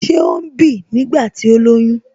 Ṣé ó ń bì nígbà tí ó lóyún?